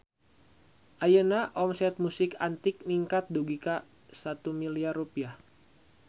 Ayeuna omset Musik Antik ningkat dugi ka 1 miliar rupiah